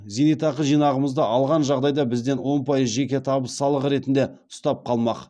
зейнетақы жинағымызды алған жағдайда бізден он пайыз жеке табыс салығы ретінде ұстап қалмақ